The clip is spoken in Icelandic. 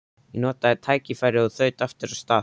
Ég notaði tækifærið og þaut aftur af stað.